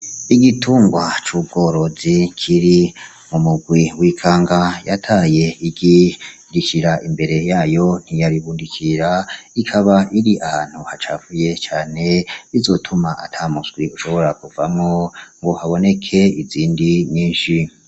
Igitungwa c'ubworozi kiri mumurwi w'ikanga yataye igi irishira imbere yayo ntiyaribundikira , ikaba iri ahantu hacafuye cane bizotuma atamuswi ushobora kuvamwo ngo haboneke izindi nyinshi.